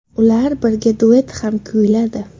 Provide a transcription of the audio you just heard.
Ular birga duet ham kuyladi.